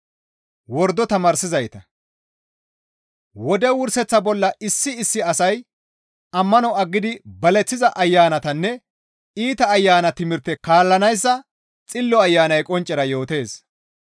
Wode wurseththa bolla issi issi asay ammano aggidi baleththiza ayanatanne iita ayana timirte kaallanayssa Xillo Ayanay qonccera yootees.